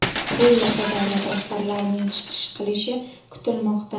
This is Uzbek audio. Bu yerda davlat rahbarlarining chiqish qilishi kutilmoqda.